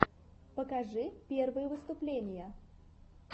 покажи первые выступления